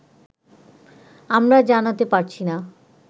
আমরা জানাতে পারছি না